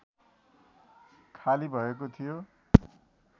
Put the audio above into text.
खाली भएको थियो